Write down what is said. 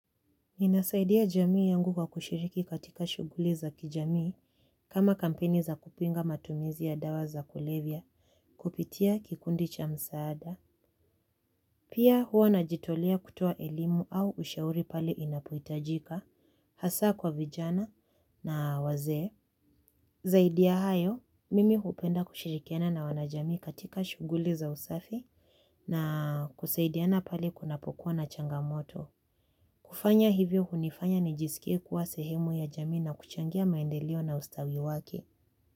Ninasaidia jamii yangu kwa kushiriki katika shughuli za kijamii kama kampeni za kupinga matumizi ya dawa za kulevya kupitia kikundi cha msaada. Pia huwa najitolea kutoa elimu au ushauri pale inapohitajika, hasa kwa vijana na wazee. Zaidi ya hayo, mimi hupenda kushirikiana na wanajamii katika shughuli za usafi na kusaidiana pale kunapokuwa na changamoto. Kufanya hivyo hunifanya nijisikie kuwa sehemu ya jamii na kuchangia maendeleo na ustawi wake.